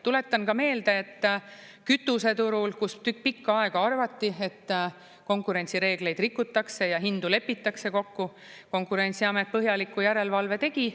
Tuletan ka meelde, et kütuseturul, kus pikka aega arvati, et konkurentsireegleid rikutakse ja hindu lepitakse kokku, Konkurentsiamet põhjaliku järelevalve tegi.